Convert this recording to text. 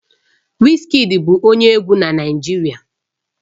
Wizkid bụ onye egwu na Naịjirịa